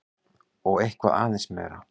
Og eitthvað aðeins meira!